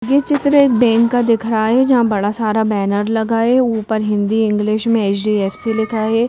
ये चित्र एक बैंक का दिख रहा है जहां बड़ा सारा बैनर लगा है ऊपर हिंदी इंग्लिश में एच_डी_एफ_सी लिखा है।